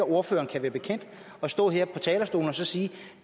ordføreren kan være bekendt at stå her på talerstolen og sige